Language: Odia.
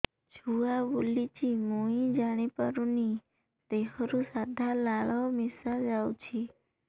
ଛୁଆ ବୁଲୁଚି ମୁଇ ଜାଣିପାରୁନି ଦେହରୁ ସାଧା ଲାଳ ମିଶା ଯାଉଚି